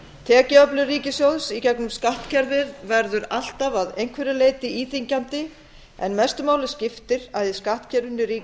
tekjuöflun ríkissjóðs í gengum skattkerfið verður alltaf að einhverju leyti íþyngjandi en mestu máli skiptir að í skattkerfinu ríki